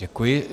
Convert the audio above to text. Děkuji.